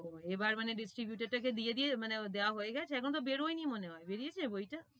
ও এবার মানে distributor টাকে দিয়ে দিয়ে, মানে দাওয়া হয়ে গেছে এখন বেরোয়নি মনে হয় বেরিয়েছে বইটা?